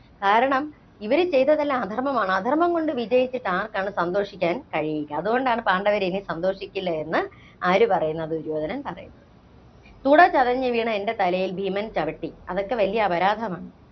കാരണം, ഇവര് ചെയ്തതെല്ലാം അധര്‍മ്മമാണ്. അധര്‍മ്മം കൊണ്ട് വിജയിച്ചിട്ട് ആര്‍ക്കാണ് സന്തോഷിക്കാന്‍ കഴിയുക? അതുകൊണ്ടാണ് പാണ്ഡവര്‍ ഇനി സന്തോഷിക്കില്ലയെന്ന് ആര് പറയുന്നത്? ദുര്യോധനൻ പറയുന്നത്. തുട ചതഞ്ഞ് വീണ എന്‍റെ തലയില്‍ ഭീമൻ ചവിട്ടി. അതൊക്കെ വലിയ അപരാധമാണ്.